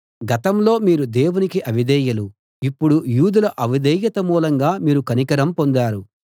గతంలో మీరు దేవునికి అవిధేయులు ఇప్పుడు యూదుల అవిధేయత మూలంగా మీరు కనికరం పొందారు